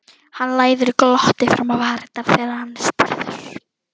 Hann læðir glotti fram á varirnar þegar hann er spurður.